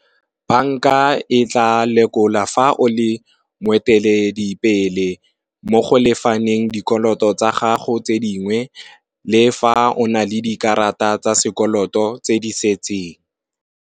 Banka e tla lekola fa o le moeteledipele mo go lefaneng dikoloto tsa gago tse dingwe le fa o na le dikarata tsa sekoloto tse di setseng.